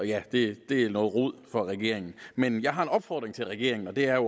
ja det er noget rod for regeringen men jeg har en opfordring til regeringen og det er at